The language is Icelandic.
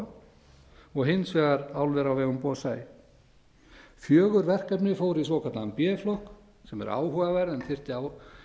alcoa og hins vegar álver á vegum bosai fjögur verkefni fóru í svokallaðan b flokk sem er áhugaverð en þyrfti á